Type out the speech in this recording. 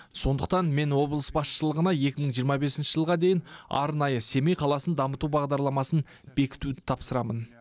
сондықтан мен облыс басшылығына екі мың жиырма бесінші жылға дейін арнайы семей қаласын дамыту бағдарламасын бекітуді тапсырамын